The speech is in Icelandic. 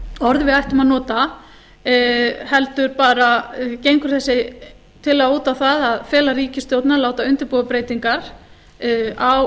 orð við ættum að nota heldur bara gengur þessi tillaga út á það að fela ríkisstjórninni að láta undirbúa breytingar á